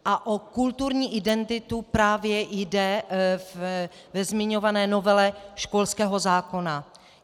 A o kulturní identitu právě jde ve zmiňované novele školského zákona.